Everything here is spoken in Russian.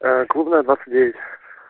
клубная двадцать девять